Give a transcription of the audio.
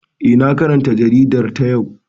Eh, na karanta jaridar ta yau